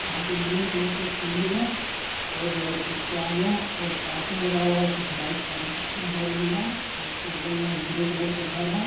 यहा पे green colour का सीढ़ी है और उसके आगे है पार्किंग लगा हुआ है। कुछ बाइक पार्किंग हो रही है और उसके बगल मे एक ग्रे कलर का घर है।